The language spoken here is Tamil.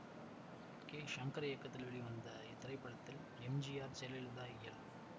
கே சங்கர் இயக்கத்தில் வெளிவந்த இத்திரைப்படத்தில் M G R Jayalalithaa L